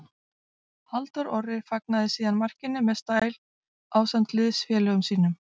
Halldór Orri fagnaði síðan markinu með stæl ásamt liðsfélögum sínum.